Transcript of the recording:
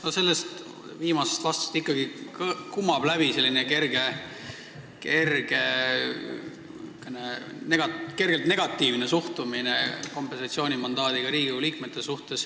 No sellest viimasest vastusest kumab läbi ikkagi kergelt negatiivne suhtumine kompensatsioonimandaadi saanud Riigikogu liikmetesse.